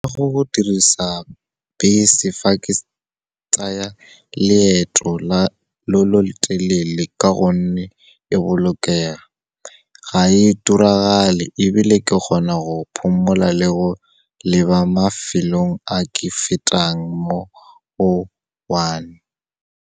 Go dirisa bese fa ke tsaya leeto lo lo telele ka gonne, le bolokega, ga e turagale ebile ke kgona go phomola le go leba mafelong a ke fetang mo go one.